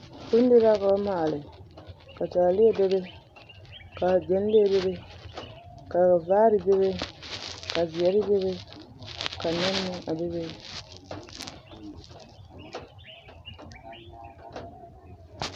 Bondiri la ka ba maale ka taaleɛ bebe ka ɡyɛnlee bebe ka vaare bebe ka zeɛre bebe ka nɛne meŋ a bebe.